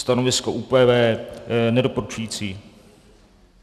Stanovisko ÚPV nedoporučující.